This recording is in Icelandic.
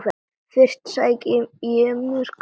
Fyrst sæki ég mér kaffi.